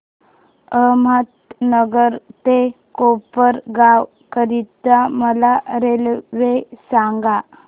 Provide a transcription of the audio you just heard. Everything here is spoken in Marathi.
अहमदनगर ते कोपरगाव करीता मला रेल्वे सांगा